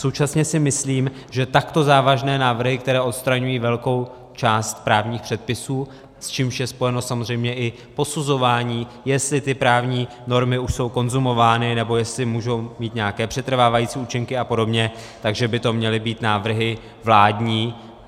Současně si myslím, že takto závažné návrhy, které odstraňují velkou část právních předpisů, s čímž je spojeno samozřejmě i posuzování, jestli ty právní normy už jsou konzumovány, nebo jestli můžou mít nějaké přetrvávající účinky a podobně, že by to měly být návrhy vládní.